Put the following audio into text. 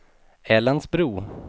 Älandsbro